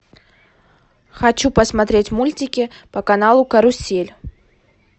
хочу посмотреть мультики по каналу карусель